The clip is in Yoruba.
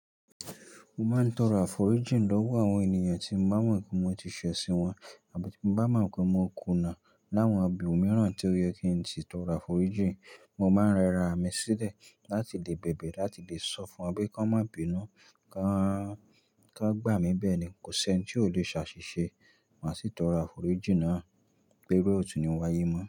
Mo máa ń tọrọ àforíjìn lọ́wọ́ àwọn ènìyàn tí mo bá mọ̀ pé mo ti ṣẹ̀sín wọn àbí tí mo bá mọ̀ pé mo kùnà. Láwọn ibí òun mìíràn tí ó yẹ kí n sì tọrọ àforíjìn, mo máa ń rẹra mi sílẹ̀ láti lè bèbè láti lè sọ fún wọn pé kí wọ́n má bínú, kí wọ́n gbà mí bẹ́ẹ̀ ni kò sí ẹni tí ò le ṣ'àṣìṣe. Màá sì tọrọ àforíjìn náà pe iru e òtù ni wáyé mọ́